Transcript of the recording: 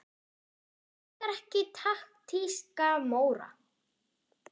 Hver elskar ekki taktíska Móra?